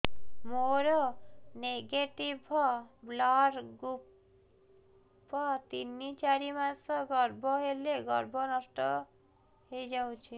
ମୋର negative blood group ତିନ ଚାରି ମାସ ଗର୍ଭ ହେଲେ ଗର୍ଭ ନଷ୍ଟ ହେଇଯାଉଛି